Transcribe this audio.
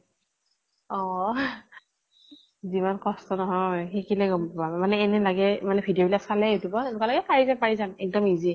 অ যিমান কষ্ট নহয়, শিকিলে গম পাবা মানে এনে লাগে মানে video বিলাক চালে youtube ত এনেকুৱা লাগে পাৰি যাম পাৰি যাম। এক্দম easy